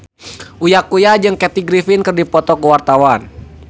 Uya Kuya jeung Kathy Griffin keur dipoto ku wartawan